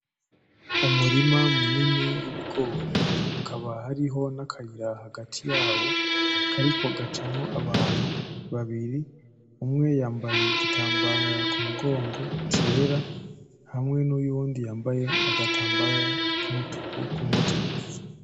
Umurima munini w'ibigori hakaba hariho n'akayira hagati yawo kariko gacamwo abantu babiri, umwe yambaye igitambara kumugongo cera, hamwe n'uyundi yambaye agatambara kumutwe.